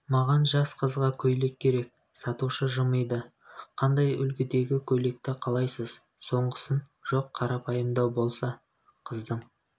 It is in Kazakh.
маған жас қызға көйлек керек сатушы жымиды қандай үлгідегі көйлекті қалайсыз соңғысын жоқ қарапайымдау болса қыздың